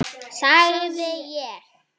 sagði ég.